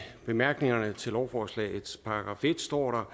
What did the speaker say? bemærkningerne til lovforslagets § en står der